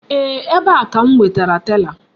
Eeh, ebe a ka m wetara tela.